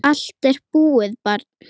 Allt er búið, barn.